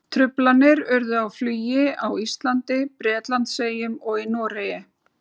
Truflanir urðu á flugi á Íslandi, Bretlandseyjum og í Noregi.